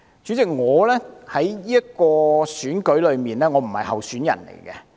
主席，我不是今次選舉的候選人。